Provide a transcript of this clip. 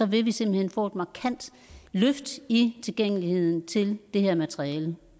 vil vi simpelt hen få et markant løft i tilgængeligheden til det her materiale